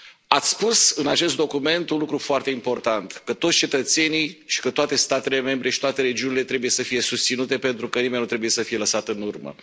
Ați spus, în acest document, un lucru foarte important toți cetățenii și toate statele membre și toate regiunile trebuie să fie susținute pentru că nimeni nu trebuie să fie lăsat în urmă.